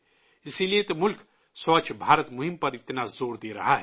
اس لیے تو ملک سووچھ بھارت ابھیان پر اتنا زور دے رہا ہے